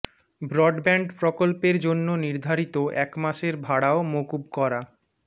broadband প্রকল্পের জন্য নির্ধারিত এক মাসের ভাড়াও মকুব করা